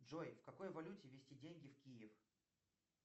джой в какой валюте везти деньги в киев